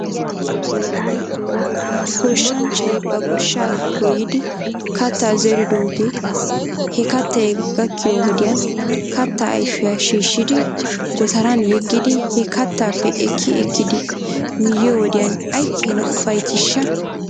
Goshshanchchay ba goshshaa goyyidi kattaa zeridoogee he kattay gakkiyoo wodiyan kattaa ayfiyaa shhiishshidi gootaran yeggidi he kattaappe ekki ekkidi miyoo wodiyan aykeenaa ufayttiishsha?